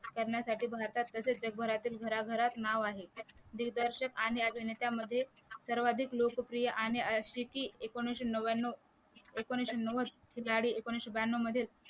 करण्यासाठी भारतात प्रसिद्ध घरातील घराघरात नाव आहे दिग्दर्शक आणि अभिनेत्यांमध्ये सर्वाधिक लोकप्रिय आणि एकोणीशे नवव्यान्व एकोणीशे नवद एकोणीशे ब्याण्णव मध्ये